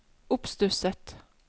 oppstusset